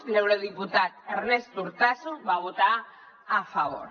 l’eurodiputat ernest urtasun hi va votar a favor